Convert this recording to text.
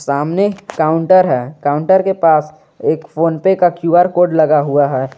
सामने काउंटर है काउंटर के पास एक फोन पे का क्यू_आर कोड लगा हुआ है।